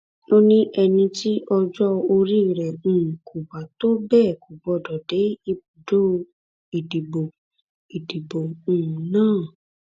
ó ní ẹni tí ọjọ orí rẹ um kò bá tó bẹẹ kò gbọdọ dé ibùdó ìdìbò ìdìbò um náà